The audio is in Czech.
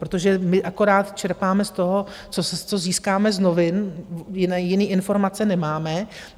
Protože my akorát čerpáme z toho, co získáme z novin, jiné informace nemáme.